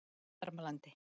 Varmalandi